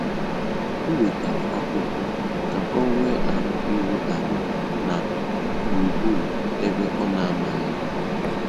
Ó wètárá ákwụ́kwọ́ kà ọ́ nwée áhụ̀ írú àlà nà gbúrúgbúrú ébé ọ́ nà-àmághị́.